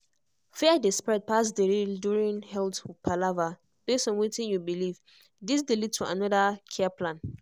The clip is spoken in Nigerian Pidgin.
fear dey spread pass the real during health palaver base on wetin you believe this dey lead to another care plan